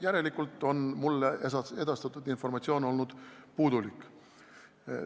Järelikult on mulle edastatud informatsioon olnud puudulik.